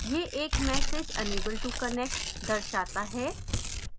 यह एक message unable to connect दर्शाता है